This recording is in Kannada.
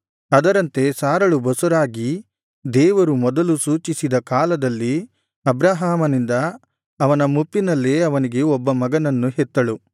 ಅದರಂತೆ ಸಾರಳು ಬಸುರಾಗಿ ದೇವರು ಮೊದಲು ಸೂಚಿಸಿದ ಕಾಲದಲ್ಲಿ ಅಬ್ರಹಾಮನಿಂದ ಅವನ ಮುಪ್ಪಿನಲ್ಲೇ ಅವನಿಗೆ ಒಬ್ಬ ಮಗನನ್ನು ಹೆತ್ತಳು